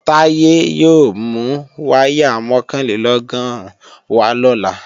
Táyé yóò mú wáyà mọ̀kànlélọ́gọ́rùn wá lọ́la